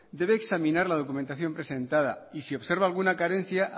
debe examinar la documentación presentada y si observa alguna carencia